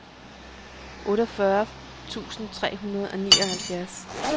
otteogfyrre tusind tre hundrede og nioghalvfjerds